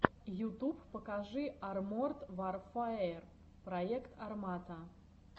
ютуб покажи арморд варфэер проект армата